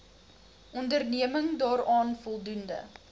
onderneming daaraan voldoen